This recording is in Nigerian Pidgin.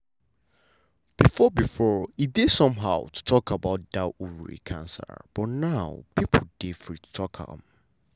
before before e dey somehow to talk about that ovary cancer but now people dey free to talk am.